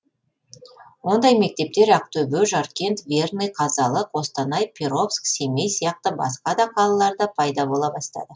ондай мектептер ақтөбе жаркент верный қазалы қостанай перовск семей сияқты басқа да қалаларда пайда бола бастады